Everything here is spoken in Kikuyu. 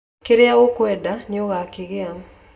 kĩrĩa ũkwenda nĩũgakĩgĩa